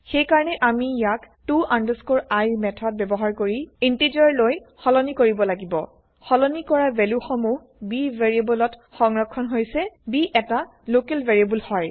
সেইকাৰণে আমি ইয়াক to i মেথড ব্যৱহাৰ কৰি ইন্টেযাৰ লৈ সলনি কৰিব লাগিব সলনি কৰা ভেলু সমুহ b ভেৰিয়েবল ত সংৰক্ষন হৈছে b এটা লোকেল ভেৰিয়েবল হয়